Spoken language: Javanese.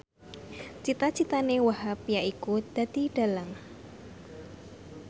cita citane Wahhab yaiku dadi dhalang